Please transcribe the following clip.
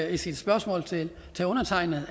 i sit spørgsmål til undertegnede